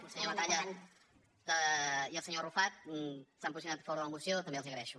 el senyor batalla i el senyor arrufat s’han posicionat a favor de la moció també els ho agraeixo